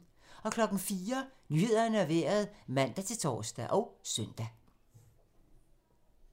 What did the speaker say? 04:00: Nyhederne og Vejret (man-tor og søn)